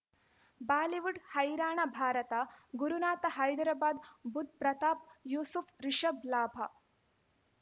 Bollywood ಹೈರಾಣ ಭಾರತ ಗುರುನಾಥ ಹೈದರಾಬಾದ್ ಬುಧ್ ಪ್ರತಾಪ್ ಯೂಸುಫ್ ರಿಷಬ್ ಲಾಭ